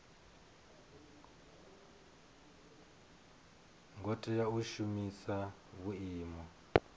ngo tea u shumisa vhuimo